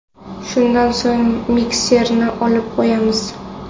Shundan so‘ng mikserni olib qo‘yamiz.